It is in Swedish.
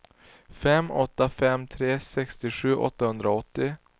fem åtta fem tre sextiosju åttahundraåttio